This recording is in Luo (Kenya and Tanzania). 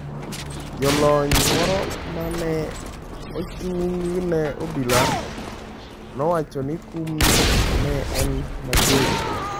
Jalony moro ma ne ochung’ ne Obila nowacho ni kumno ne en ‘mager’.